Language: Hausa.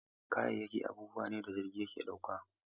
Kayayyaki abubuwa ne da jirgi ke ɗauka.